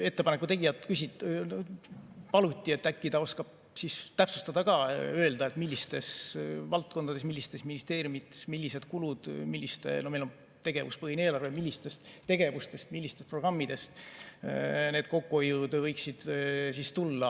Ettepaneku tegijalt küsiti, kas ta äkki oskab täpsustada ja öelda, millistes valdkondades, millistes ministeeriumides, millised kulud – meil on tegevuspõhine eelarve –, millistest tegevustest, millistest programmidest need kokkuhoiud võiksid tulla.